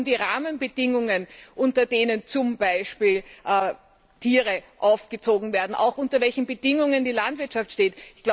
Es geht auch um die Rahmenbedingungen, unter denen zum Beispiel Tiere aufgezogen werden, auch unter welchen Bedingungen die Landwirtschaft steht.